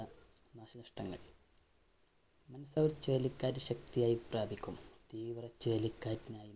Mandous ചുഴലിക്കാറ്റ് ശക്തിയായി പ്രാപിക്കും. തീവ്രച്ചുഴലികാറ്റിനായി